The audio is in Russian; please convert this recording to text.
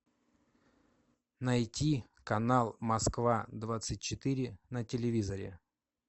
найди канал москва двадцать четыре на телевизоре